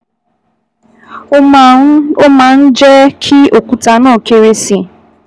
Ó máa ń máa ń jẹ́ kí òkúta náà kéré sí i